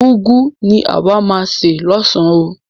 Úgwu ni àwa máa se lọ́san oo.